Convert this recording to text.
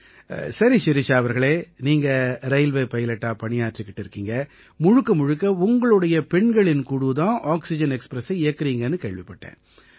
சரி ஷிரிஷா அவர்களே நீங்க ரயில்வே பைலட்டா பணியாற்றிக்கிட்டு இருக்கீங்க முழுக்க முழுக்க உங்களோட பெண்களின் குழு தான் ஆக்சிஜன் எக்ஸ்ப்ரெஸை இயக்கறீங்கன்னு கேள்விப்பட்டேன்